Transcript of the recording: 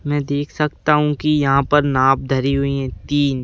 मैं देख सकता हूँ कि यहाँ पर नाप धरी हुई है तीन --